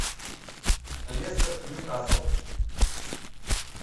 лестер ньюкасл